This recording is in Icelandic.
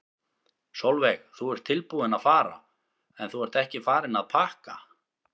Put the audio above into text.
Sólveig: Þú ert tilbúinn að fara en þú ert ekki farinn að pakka?